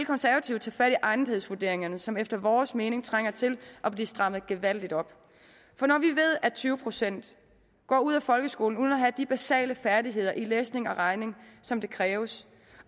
konservative tage fat i egnethedsvurderingerne som efter vores mening trænger til at blive strammet gevaldigt op for når vi ved at tyve procent går ud af folkeskolen uden at have de basale færdigheder i læsning og regning som kræves